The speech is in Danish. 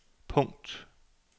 punkt